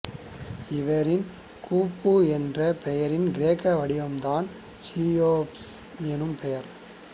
இவரின் குஃபூ என்ற பெயரின் கிரேக்க வடிவம்தான் சீயோப்ஸ் எனும் பெயர்